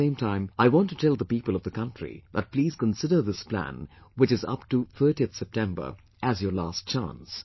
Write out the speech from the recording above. At the same time, I want to tell the people of the country that please consider this plan, which is up to 30th September as your last chance